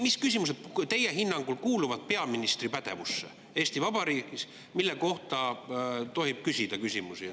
Mis küsimused teie hinnangul on need, mis kuuluvad Eesti Vabariigis peaministri pädevusse ja mille kohta tohib küsida?